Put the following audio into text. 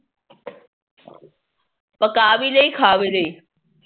ਪਕਾ ਵੀ ਲਈ ਖਾ ਵੀ ਲਈ